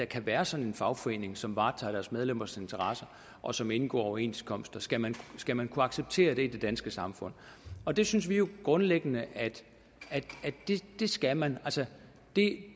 kan være sådan en fagforening som varetager deres medlemmers interesser og som indgår overenskomster skal man skal man kunne acceptere det i det danske samfund og der synes vi jo grundlæggende at det skal man altså det